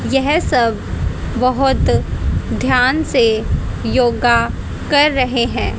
यह सब बहोत ध्यान से योगा कर रहे हैं।